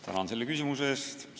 Tänan selle küsimuse eest!